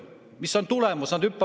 Mis on tulemus?